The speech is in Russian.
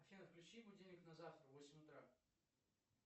афина включи будильник на завтра в восемь утра